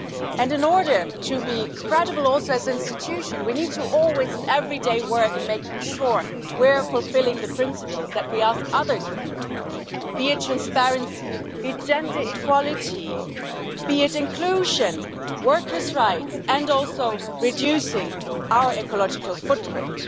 And in order also to be credible as an institution we need to work, always and every day, to make sure we are fulfilling the principles that we ask others to fulfil, be it transparency, be it gender equality, be it inclusion, workers' rights, and also reducing our ecological footprint.